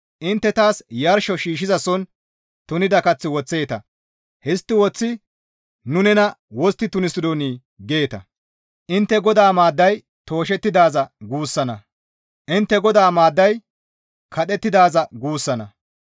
Intte taas yarsho shiishshizason tunida kath woththeeta» Histti woththidi, «Nu nena wostti tunisidonii?» geeta. Intte, «GODAA maadday tooshettidaaza» guussanna; intte, «GODAA maadday kadhettidaaza guussanna.